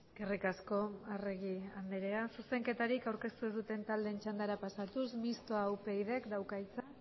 eskerrik asko arregi andrea zuzenketarik aurkeztu ez duten taldeen txandara pasatuz mistoa upydk dauka hitza